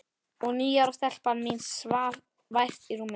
Og níu ára stelpan mín svaf vært í rúminu.